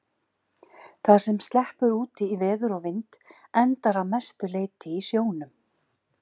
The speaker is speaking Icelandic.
Það sem sleppur út í veður og vind endar að mestu leyti í sjónum.